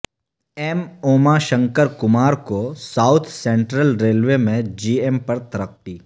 M Uma Shankar Kumar کو south central railway میں G M پر ترقی